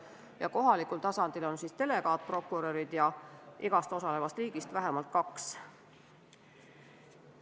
Ja kohalikul tasandil on delegaatprokurörid, keda on igast osalevast riigist vähemalt kaks.